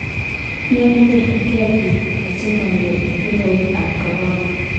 Nyalu koripkei piik asimanyor tung'wek ap korona